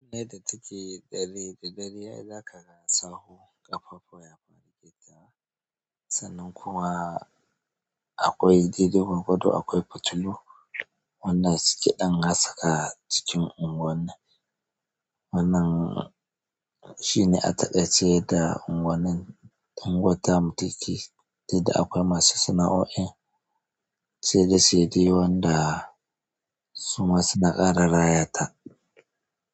Yadda yake dare da dare ai zaka na samu kafafafuwa ya ɗan ja, sannan kuwa akwai diddigon bado, akwai fitilu. Wannan ciki ɗan hasaka cikin unguwar nan. Wannan shi ne atakaice yadda unguwar tamu take, duka da akwai masu sana'o'in sai da sai dai wanda sun masu naƙara rayata.